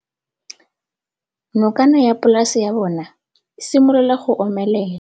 Nokana ya polase ya bona, e simolola go omelela.